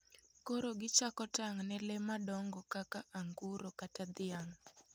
Koro gichako tang' ne le madongo kaka anguro kata dhiang'.